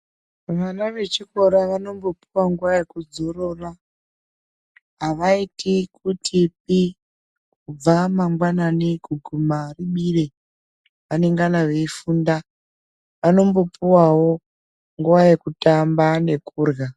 Vana vechikora vanombopuwa nguwa yekudzorora, avaiti kutipi kubva mangwanani kuguma ribire vanongana veifunda, vanombopuwawo nguwa yekutamba nekurhya.